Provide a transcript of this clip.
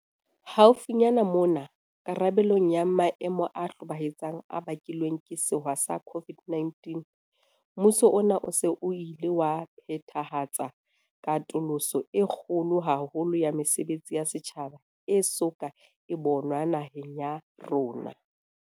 Haufinyane mona, karabelong ya maemo a hlobaetsang a bakilweng ke sewa sa COVID-19, mmuso ona o se o ile wa phethahatsa katoloso e kgolo haholo ya mesebetsi ya setjhaba e so ka e bonwa naheng ya rona.